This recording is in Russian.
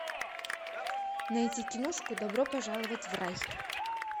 найти киношку добро пожаловать в рай